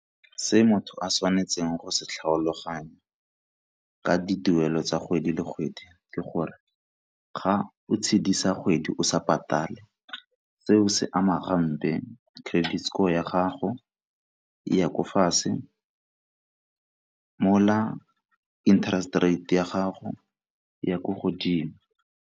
Se motho a tshwanetseng go se tlhaloganya ka dituelo tsa kgwedi le kgwedi ke gore, ga o tshedisa kgwedi o sa patale seo se ama gampe credit score ya gago e ya ko fatshe mola interest rate ya gago e ya ko godimo.